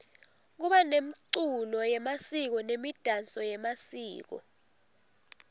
kuba nemculo yemasiko nemidanso yemasiko